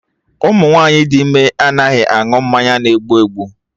Ụmụ nwaanyị dị ime anaghị aṅụ mmanya na egbu egbu